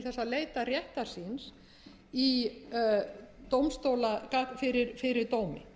fjárhagslega burði til þess að leita réttar síns fyrir dómi